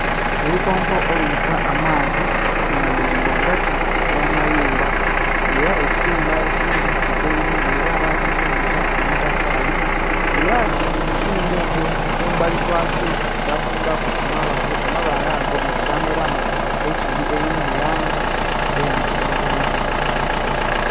Olukonko olubisa amaadhi nga luli ghagati ghamayumba nga era ekiyumba ekindhi kikaire nga era bagizimbisa amatafali nga era mukiyumba ekyo kumbali kwakyo bazimbaku amabaale, amabaale ago nga gameramu eisubi eriri mulangi eyakiragala.